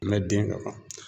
Mɛ den kan